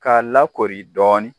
K'a lakoori dɔɔnin